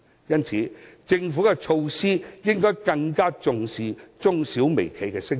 因此，政府制訂措施時，應該更重視中小微企的聲音。